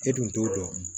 E dun t'o dɔn